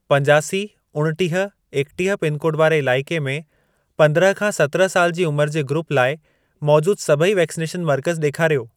पंजासी, उणटीह, एकटीह पिनकोड वारे इलाइके में पंद्रहं खां सतिरहं साल जी उमर जे ग्रूप लाइ मौजूद सभई वैक्सनेशन मर्कज़ ॾेखारियो।